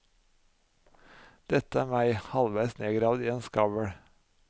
Dette er meg, halveis nedgravd i en skavl.